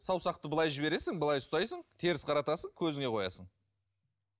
саусақты былай жібересің былай ұстайсың теріс қаратасың көзіңе қоясың